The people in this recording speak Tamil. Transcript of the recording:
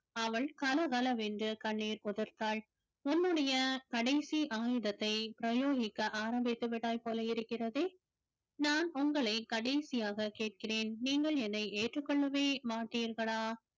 அவள் கலகலவென்று கண்ணீர் உதிர்த்தாள் உன்னுடைய கடைசி ஆயுதத்தை பிரயோகிக்க ஆரம்பித்து விட்டாய் போல இருக்கிறதே நான் உங்களை கடைசியாக கேட்கிறேன் நீங்கள் என்னை ஏற்றுக்கொள்ளவே மாட்டீர்களா